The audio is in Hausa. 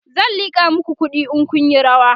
zan liƙa maku kuɗi in Kun Yi rawa